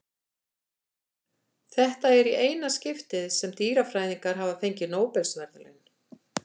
Þetta er í eina skiptið sem dýrafræðingar hafa fengið Nóbelsverðlaun.